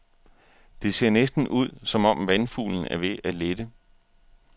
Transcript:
Det ser næsten ud, som om vandfuglen er ved at lette.